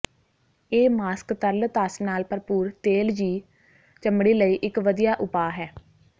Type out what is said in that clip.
ਇਹ ਮਾਸਕ ਤਰਲ ਧਸ ਨਾਲ ਭਰਪੂਰ ਤੇਲਯੀ ਚਮੜੀ ਲਈ ਇਕ ਵਧੀਆ ਉਪਾਅ ਹੈ